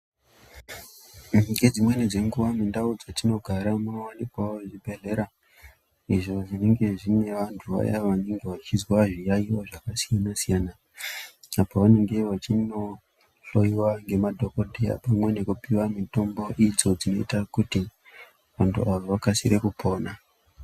Ngedzimweni dzenguva mundau dzatinogara munowanikwawo zvibhedhlera izvo zvinenge zvine vantu vaya vanenge vachizwa zviyayiyo zvakasiyana siyana apa vanenge vachinohloyiwa ngemadhokoteya pamwe nekupiwa mitombo dzinoita kuti vantu avo vakasire kupona.